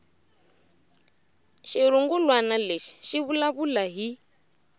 xirungulwana lexi xi vulavula hi